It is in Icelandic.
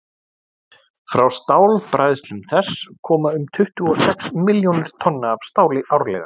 frá stálbræðslum þess koma um tuttugu og sex milljónir tonna af stáli árlega